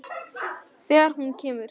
Þegar hún kemur.